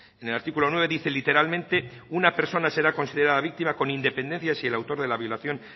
en el artículo nueve dice literalmente una persona será considerada víctima con independencia de si el autor de la violación